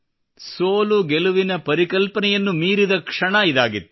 ಸೋಲು ಗೆಲುವಿನ ಪರಿಕಲ್ಪನೆಯನ್ನು ಮೀರಿದ ಕ್ಷಣ ಇದಾಗಿತ್ತು